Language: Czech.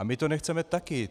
A my to nechceme také.